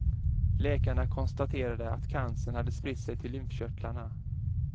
Läkarna konstaterade att cancern hade spritt sig till lymfkörtlarna.